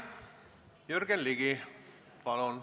Jürgen Ligi, palun!